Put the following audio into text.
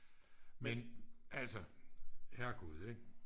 men altså herregud ikke